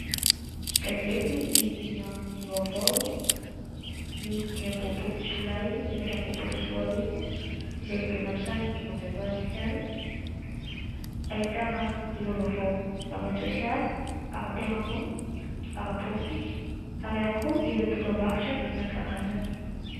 Gazety Inona no vaovao ny 25 Jolay 2024 izay vidiana amin'ny sarany 500 Ariary. Ahitana ireo vaovao : ara-tsosialy, ara-piarahamonina, ara-politika ary ihany koa ireo dokambarotra isan-karazany.